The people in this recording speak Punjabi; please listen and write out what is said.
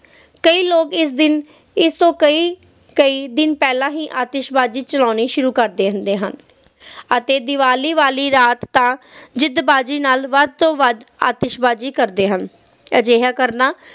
ਕਈ ਲੋਕ ਇਸ ਦਿਨ ਇਸ ਤੋਂ ਕਈ ਕਈ ਦਿਨ ਪਹਿਲਾ ਹੀ ਆਤਿਸ਼ਬਾਜ਼ੀ ਚਲਾਉਣੀ ਸ਼ੁਰੂ ਕਰਦੇ ਹੁੰਦੇ ਹਨ ਅਤੇ ਦੀਵਾਲੀ ਵਾਲੀ ਰਾਤ ਤਾ ਜਿੱਦਬਾਜ਼ੀ ਨਾਲ ਵੱਧ ਤੋਂ ਵੱਧ ਅੱਤੀਸ਼ਬਾਜ਼ੀ ਕਰਦੇ ਹਨ ਪਰ ਅਜਿਹਾ ਕਰਨਾ